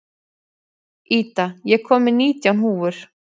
Ida, ég kom með nítján húfur!